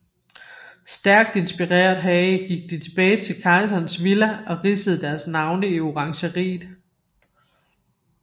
Stærkt inspireret heraf gik de tilbage til Kejserens Villa og ridsede deres navne i orangeriet